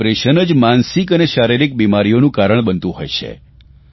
અને ડિપ્રેશન જ માનસિક અને શારિરીક બિમારીઓનું કારણ બનતું હોય છે